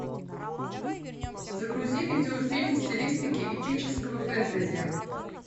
загрузи видеофильм в стилистике эпического фэнтези